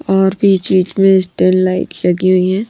और बीच-बीच में स्टेन लाइट लगी हुई है।